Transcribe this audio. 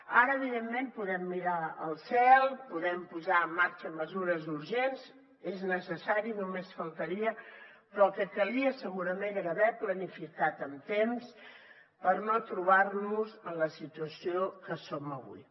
ara evidentment podem mirar al cel podem posar en marxa mesures urgents és necessari només faltaria però el que calia segurament era haver planificat amb temps per no trobar nos en la situació que som avui